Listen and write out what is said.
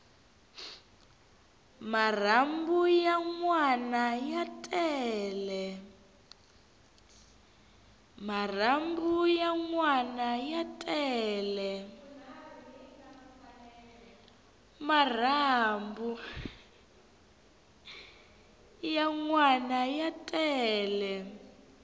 marhambu ya nwana ya tele